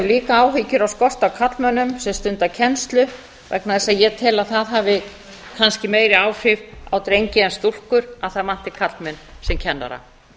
líka áhyggjur á skorti af karlmönnum sem stunda kennslu vegna þess að ég tel að það hafi kannski meiri áhrif á drengi en stúlkur að það vanti karlmenn sem kennara